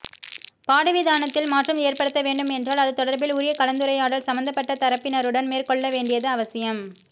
பாடவிதானத்தில் மாற்றம் ஏற்படுத்த வேண்டும் என்றால் அது தொடர்பில் உரிய கலந்துரையாடல் சம்பந்தப்பட்ட தரப்பினருடன் மேற்கொள்ள வேண்டியது அவசியம்